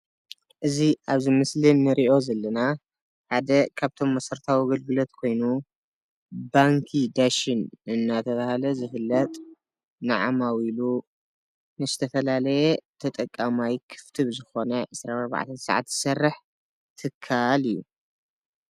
እዚ ኣብዚ ምስሊ እንሪኦ ዘለና ሓደ ካብቶም መሰረታዊ ኣገልግሎት ኮይኑ ባንኪ ዳሽን እናተባህለ ዝፍለጥ ንዓማዊሉ ንዝተፈላለየ ተጠቃማይ ክፍቲ ብዝኾነ 24 ሰዓት ዝሰርሕ ትካል እዩ፡፡